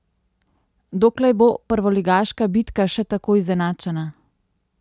Doklej bo prvoligaška bitka še tako izenačena?